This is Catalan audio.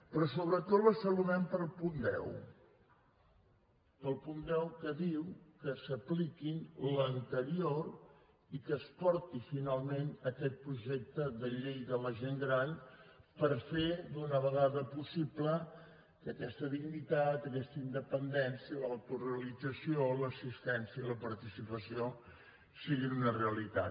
però sobretot la saludem pel punt deu pel punt deu que diu que s’apliqui l’anterior i que es porti finalment aquest projecte de llei de la gent gran per fer d’una vegada possible que aquesta dignitat aquesta independència l’autorealització l’assistència i la participació siguin una realitat